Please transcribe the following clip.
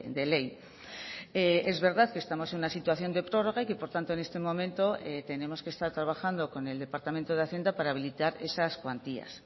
de ley es verdad que estamos en una situación de prórroga y que por tanto en este momento tenemos que estar trabajando con el departamento de hacienda para habilitar esas cuantías